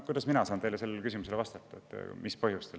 Kuidas mina saan teile vastata, mis põhjustel seda tehakse?